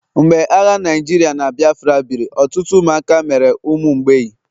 mgbe agha Naijirịa na Biafra biri, ọtụtụ ụmụaka mere ụmụ mgbei